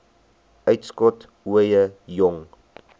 uitskot ooie jong